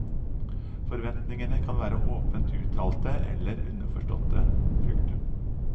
Forventningene kan være åpent uttalte eller underforståtte. punktum